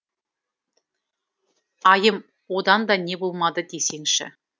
айым одан да не болмады десеңші